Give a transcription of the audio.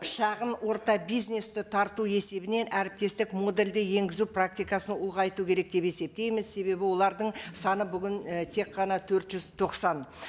шағын орта бизнесті тарту есебінен әріптестік модульді енгізу практикасын ұлғайту керек деп есептейміз себебі олардың саны бүгін і тек қана төрт жүз тоқсан